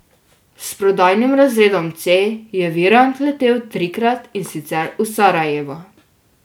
S prodajnim razredom C je Virant letel trikrat, in sicer v Sarajevo.